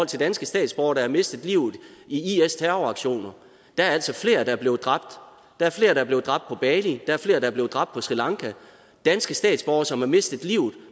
til danske statsborgere der har mistet livet i is terroraktioner der er altså flere der er blevet dræbt der er flere der er blevet dræbt på bali der er flere der er blevet dræbt på sri lanka danske statsborgere som har mistet livet